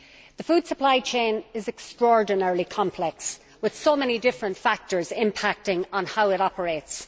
The food supply chain is extraordinarily complex, with so many different factors impacting on how it operates.